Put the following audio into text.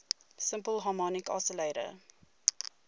simple harmonic oscillator